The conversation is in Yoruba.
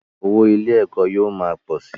Owó ilé - ẹ̀kọ́ yóò ma pọ̀ si